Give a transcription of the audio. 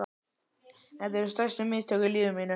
Þetta eru stærstu mistök í lífi mínu.